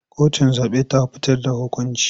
Kotun zaɓe ta fitar da hukunci.